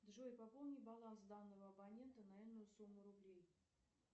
джой пополни баланс данного абонента на энную сумму рублей